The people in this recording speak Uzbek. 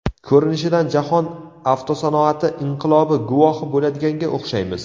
Ko‘rinishidan jahon avtosanoati inqilobi guvohi bo‘ladiganga o‘xshaymiz.